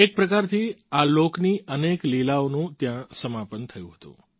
એક પ્રકારથી આ લોકની અનેક લીલાઓનું ત્યાં સમાપન થયું હતું